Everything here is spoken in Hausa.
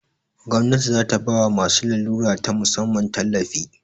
Gwamnati zata bawa masu larura ta musamman tallafi